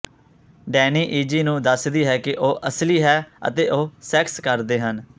Danny Izzy ਨੂੰ ਦੱਸਦੀ ਹੈ ਕਿ ਉਹ ਅਸਲੀ ਹੈ ਅਤੇ ਉਹ ਸੈਕਸ ਕਰਦੇ ਹਨ